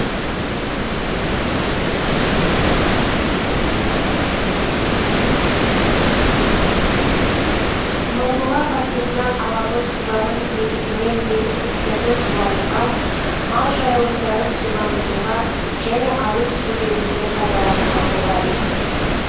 мыңбұлақ артезиан алабы суларын негізінен егістіктерді суаруға мал жайылымдарын суландыруға және ауыз су ретінде пайдалануға болады